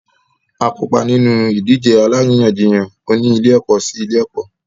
A kópa nínú ìdíje alárìíyànjiyàn oní ilé-ẹ̀kọ́ sí ilé-ẹ̀kọ́.